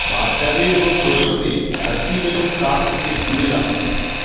বাচ্চাদের এবং পোষাদের দূরে অ্যাসিড এবং তাপ থেকে রাখুন